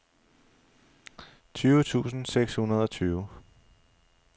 tyve tusind seks hundrede og tyve